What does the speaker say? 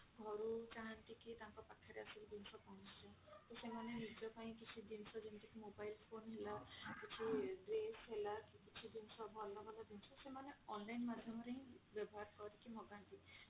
ଘରୁ ଚାହାନ୍ତି କି ତାଙ୍କ ପାଖରେ ଆସିକି ଜିନିଷ ପହଞ୍ଚି ଯାଉ ତ ସେମାନେ ନିଜ ପାଇଁ କିଛି ଜିନିଷ ଯେମତି କି iphone ହେଲା କିଛି dress ହେଲା କି କିଛି ଜିନିଷ ଭଲ ଭଲ ଜିନିଷ ତ ସେମାନେ online ମାଧ୍ୟମ ରେ ହିଁ ବ୍ୟବହାର କରିକି ମଗାନ୍ତି।